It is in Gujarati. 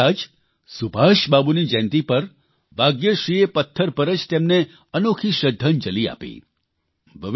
થોડા દિવસ પહેલાં જ સુભાષબાબુની જયંતિ ઉપર ભાગ્યશ્રીએ પથ્થર પર જ તેમને અનોખી શ્રદ્ધાંજલિ આપી